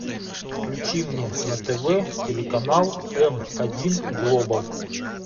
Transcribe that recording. включи мне на тв телеканал м один глобал